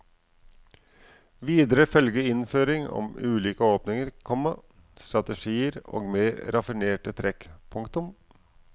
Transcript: Videre følger innføring om ulike åpninger, komma strategier og mer raffinerte trekk. punktum